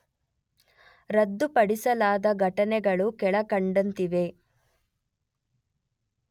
ರದ್ದುಪಡಿಸಲಾದ ಘಟಕಗಳು ಕೆಳಕಂಡಂತಿವೆ